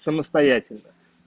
самостоятельно